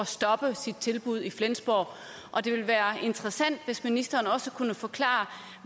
stoppe sit tilbud i flensborg og det vil være interessant hvis ministeren også kunne forklare